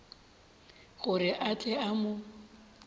gore a tle a mo